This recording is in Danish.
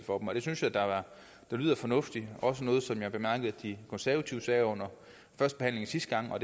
for dem og det synes jeg da lyder fornuftigt det også noget som jeg bemærkede at de konservative sagde under førstebehandlingen sidste gang og